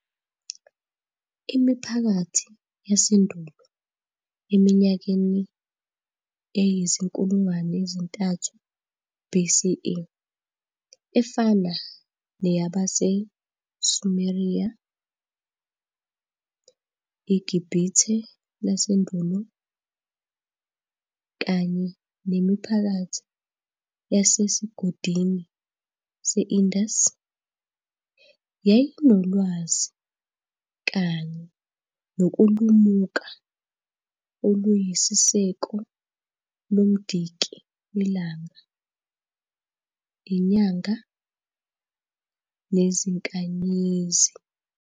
Imiphakathi yasendulo eminyakeni eyizi-3000 BCE efana neyabase-Sumeriya, iGibhithe lasendulo, kanye nemiphakathi yasesiGodini se-indus, yayinolwazi kanye nokulumuka oluyisiseko lomdiki welanga, inyanga nezinkanyezi.